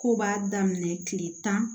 Kow b'a daminɛ kile tan